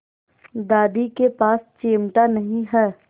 दादी के पास चिमटा नहीं है